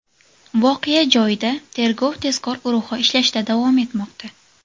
Voqea joyida tergov-tezkor guruhi ishlashda davom etmoqda.